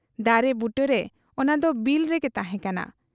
ᱫᱟᱨᱮ ᱵᱩᱴᱟᱹᱨᱮ ᱚᱱᱟᱫᱚ ᱵᱤᱞ ᱨᱮᱜᱮ ᱛᱟᱦᱮᱸ ᱠᱟᱱᱟ ᱾